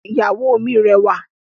Ìyàwó mi rẹwà